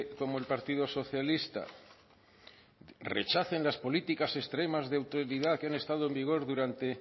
como el partido socialista rechacen las políticas extremas de autoridad que han estado en vigor durante